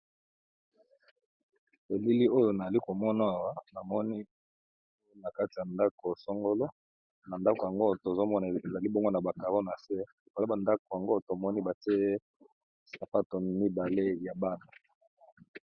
Elili oyo nazokomona Awa namoni nakati ya ndako songolo nandako yango tozokomona ezali na ba carreau nase pe batiya sapato mibile ya Bana.